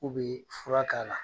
K'u be furak'a la.